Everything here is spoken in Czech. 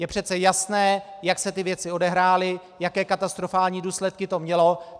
Je přece jasné, jak se ty věci odehrály, jaké katastrofální důsledky to mělo.